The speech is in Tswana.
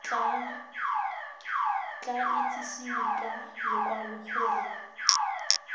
tla itsisiwe ka lokwalo gore